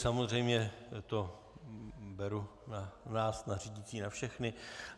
Samozřejmě to beru na nás na řídící, na všechny.